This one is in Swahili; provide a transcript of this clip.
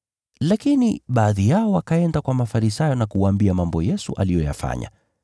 Lakini baadhi yao wakaenda kwa Mafarisayo na kuwaambia mambo Yesu aliyoyafanya.